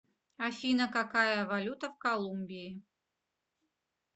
афина какая валюта в колумбии